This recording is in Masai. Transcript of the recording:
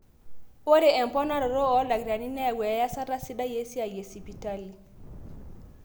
Ore emponari oldakitarini neyau eyasata sidai esiai esipitali